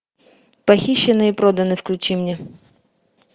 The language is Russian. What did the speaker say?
похищены и проданы включи мне